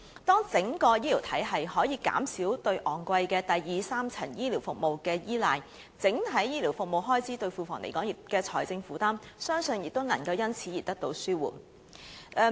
當整個醫療體系可以減少對昂貴的第二、三層醫療服務的依賴，整體醫療服務開支對庫房所帶來的財政負擔，相信亦能因而得到紓緩。